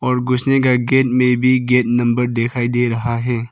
और घुसने का गेट मे भी गेट नंबर दिखाई दे रहा है।